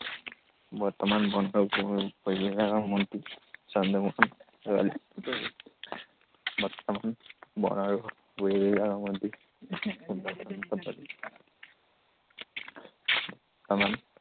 বৰ্তমান বন আৰু পৰিৱেশ বিভাগৰ মন্ত্ৰী চন্দ্ৰমোহন পাটোৱাৰী। বৰ্তমান বন আৰু পৰিৱেশ বিভাগৰ মন্ত্ৰী চন্দ্ৰমোহন পাটোৱাৰী।